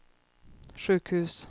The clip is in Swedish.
sjukhus